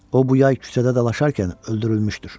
O bu yay küçədə dalaşarkən öldürülmüşdür.